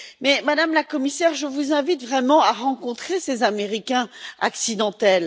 Mais, Madame la Commissaire, je vous invite vraiment à rencontrer ces Américains accidentels.